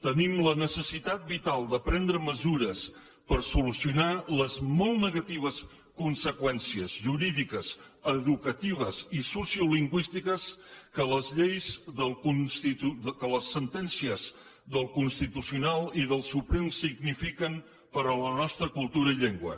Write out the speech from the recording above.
tenim la necessitat vital de prendre mesures per solucionar les molt negatives conseqüències jurídiques educatives i sociolingüístiques que les sentències del constitucional i del suprem signifiquen per a la nostra cultura i llengua